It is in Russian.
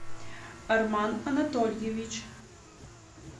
арман анатольевич